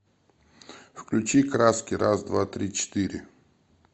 включи краски раз два три четыре